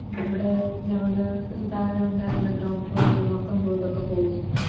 ഇവിടെ നമ്മുടെ താഴെയുണ്ടായിരുന്ന Ground floor ലെ മൊത്തം വീടൊക്കെ പോയി